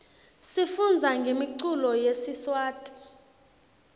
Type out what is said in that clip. sifundza ngemiculo yesiswati